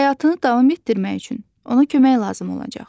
Həyatını davam etdirmək üçün ona kömək lazım olacaq.